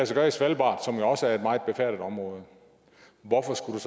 sig gøre i svalbard som jo også er et meget befærdet område hvorfor skulle